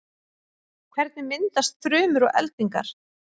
hvernig myndast þrumur og eldingar